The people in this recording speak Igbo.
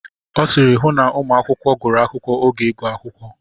Ọ sịịrị, hụ na ụmụ akwụkwọ gụrụ akwụkwọ oge ịgụ akwụkwọ.